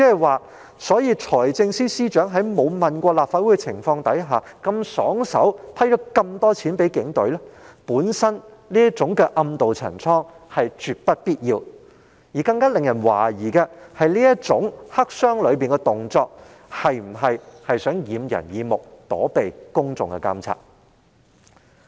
換言之，財政司司長在未經諮詢立法會的情況下如此爽快批核大量款項予警隊，本身已是絕不必要的暗渡陳倉之舉，而更加惹人懷疑的是這種黑箱作業的行為，是否有意掩人耳目，躲避公眾的監察？